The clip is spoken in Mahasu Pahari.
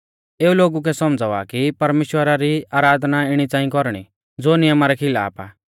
एऊ लोगु कै सौमझ़ावा की परमेश्‍वरा री आराधना इणी च़ांई कौरणी ज़ो नियमा रै खिलाफ आ